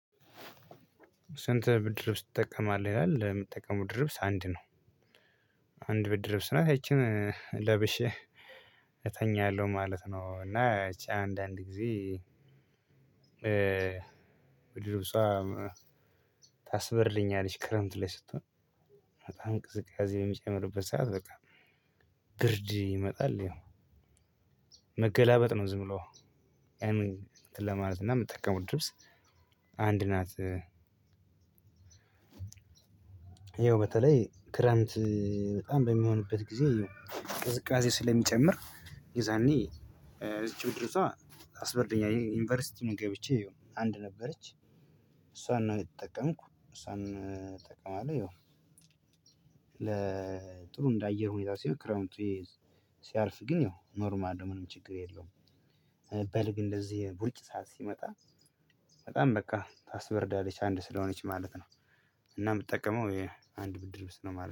ስንት? ብርድ ልብስ ትጠቀማለህ ይላል የምትጠቀመው ብርድ ልብስ አንድ ነው። አንድ ብርድ ልብስ ናት ያ ቺን ለብሼ እተኛለሁ ማለት ነው። እና ያቺ አንዳንድ ጊዜ ብርድ ልብሷ ታስበርደኛለች። ክረምት ላይ ስትሆን በጣም ቅዝቃዜ በሚጨምርበት ሰዓት በቃ ብርድ ይመጣል። ያው መገላበጥ ነው ዝም ብሎ ያን እንትን ለማለት እና የምጠቀመው ብርድ ልብስ አንድ ናት። ይኸው በተለይ ክረምት በጣም በሚሆንበት ጊዜ ይሄው ቅዝቃዜ ስለሚጨምር ይዛልኝ ይቺድርጅቷ ታስበርደኛለች። ዩኒቨርሲቲም ገብቼ አንድ ነበረች እሷን ነው የተጠቀምኩ እሷን እጠቀማለሁ። ይኸው ለጥሩ እንደ አየር ሁኔታ ሲሆን ክረምቱ ሲያልፍ ግን ያው ኖርማል ነው ምንም ችግር የለውም። በልግ እንደዚህ ዉር ጭ ሰዓት ሲመጣ በጣም በቃ ታስበርዳለች አንድ ስለሆነች ማለት ነው። እና የምጠቀመው ይሄ አንድ ብርድ ልብስ ነው ማለት ነው